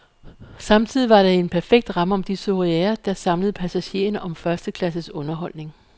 Samtidig var det en perfekt ramme om de soireer, der samlede passagererne om førsteklasses underholdning.